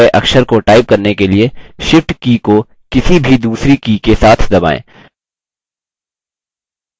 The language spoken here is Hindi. की में ऊपर दिए गये अक्षर को type करने के लिए shift की को किसी भी दूसरी की के साथ दबाएँ